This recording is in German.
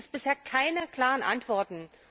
Da gibt es bisher keine klaren Antworten.